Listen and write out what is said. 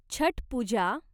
Chhath Puja